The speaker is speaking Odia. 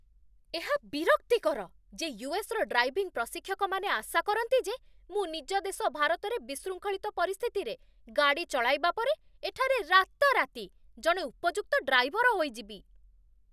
ଏହା ବିରକ୍ତିକର ଯେ ୟୁ.ଏସ୍.ର ଡ୍ରାଇଭିଂ ପ୍ରଶିକ୍ଷକମାନେ ଆଶା କରନ୍ତି ଯେ ମୁଁ ନିଜ ଦେଶ ଭାରତରେ ବିଶୃଙ୍ଖଳିତ ପରିସ୍ଥିତିରେ ଗାଡ଼ି ଚଳାଇବା ପରେ ଏଠାରେ ରାତାରାତି ଜଣେ ଉପଯୁକ୍ତ ଡ୍ରାଇଭର ହୋଇଯିବି।